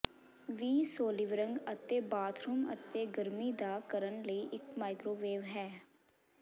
ਵੀ ਸੋਲਿਵਰੰਗ ਅਤੇ ਬਾਥਰੂਮ ਅਤੇ ਗਰਮੀ ਦਾ ਕਰਨ ਲਈ ਇੱਕ ਮਾਈਕ੍ਰੋਵੇਵ ਹੈ